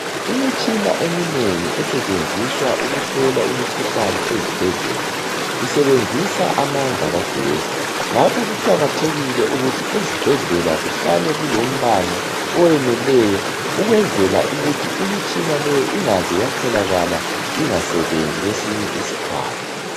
Imitshina eminengi esetshenziswa ukuhlola imikhuhlane ezibhedlela isebenzisa amandla kagesi. Ngakho kuqakathekile ukuthi ezibhedlela kuhlale kulombane oweneleyo ukwenzela ukuthi imitshina leyo ingaze yatholakala ingasebenzi kwesinye isikhathi.